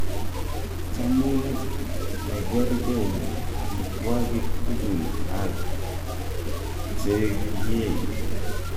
chamu negergei amitwagig tugul ag chegiei ?